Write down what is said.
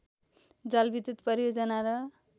जलविद्युत परियोजना र